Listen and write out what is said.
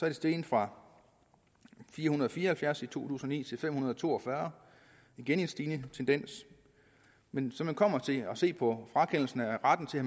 er steget fra fire hundrede og fire og halvfjerds i to tusind og ni til fem hundrede og to og fyrre igen en stigende tendens men når man kommer til at se på frakendelsen af retten til at